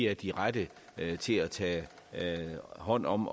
er de rette til at tage hånd om